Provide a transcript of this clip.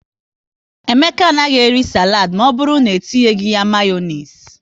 Emeka anaghị eri saladi maọbụru na-, etinye ya Mayonezi